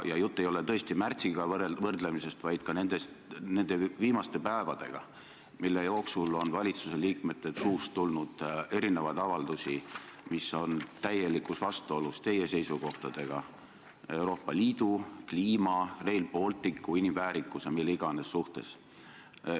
Jutt ei ole tõesti võrdlemisest märtsiga, vaid ka nende viimaste päevadega, mille jooksul on valitsuse liikmete suust tulnud erinevaid avaldusi, mis on täielikus vastuolus teie seisukohtadega Euroopa Liidu, kliima, Rail Balticu, inimväärikuse ja mille iganes suhtes.